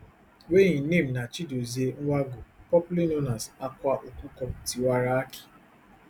wey im name na chidozie nwangwu popularly known as akwa okuko tiwara aki